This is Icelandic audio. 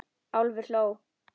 Álfur hló.